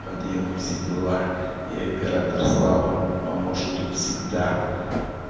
подъём и все дела и оператор слава поможет тут всегда